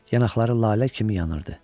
Yanaqları lalə kimi yanırdı.